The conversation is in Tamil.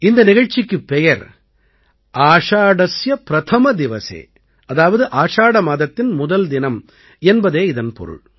இந்த நிகழ்ச்சிக்குப் பெயர் ஆஷாடஸ்ய பிரதம திவஸே அதாவது ஆஷாட மாதத்தின் முதல் தினம் என்பதே இதன் பொருள்